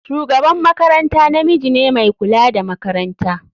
Shugaban makaranta namiji ne mai kula da makaranta.